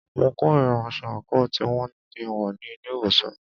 Mo kòrira aṣọ àńkò tí wọn ní kí a wọ̀ ní ilé ìwòsàn.